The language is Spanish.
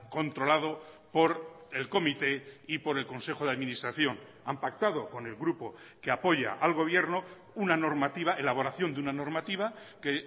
controlado por el comité y por el consejo de administración han pactado con el grupo que apoya al gobierno una normativa elaboración de una normativa que